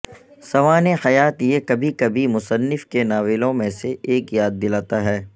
سوانح حیات یہ کبھی کبھی مصنف کے ناولوں میں سے ایک یاد دلاتا ہے